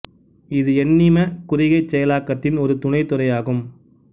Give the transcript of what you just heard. இது எண்ணிம குறிகைச் செயலாக்கதின் ஒரு துணைத் துறை ஆகும்